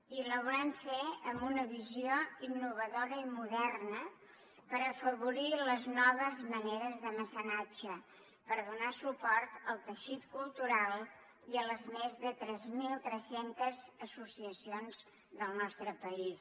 i la volem fer amb una visió innovadora i moderna per afavorir les noves maneres de mecenatge per donar suport al teixit cultural i a les més de tres mil tres cents associacions del nostre país